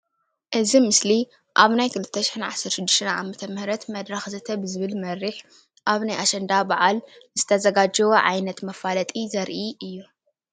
እዚ ምስሊ ኣብ ናይ 2016 ዓ/ም መድረክ ዘተ ብዝብል መርሕ ኣብ ናይ ኣሸንዳ በዓል ዝተዘጋጀወ ዓይነት መፈለጢ ዘርኢ እዩ፡፡